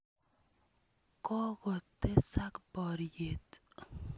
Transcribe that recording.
Kokotesak poryet.